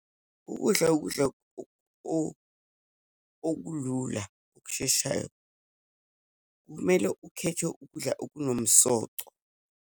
Ukudla, ukudla okulula, okusheshayo. Kumele ukhethe ukudla okunomsoco.